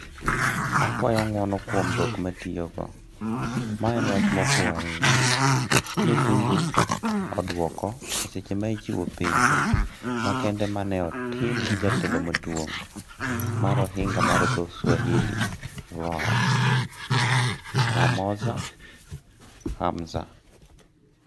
"akuayo ng'uono kuom dhok matiyo go, ma en wach ma ofuwo ahinya,"ne Tundu oduoko e seche ma ichiwo penjo makende maneotim gi jatelo maduong' mar ohinga mar dho swahili VOA, Mwamozo Hamza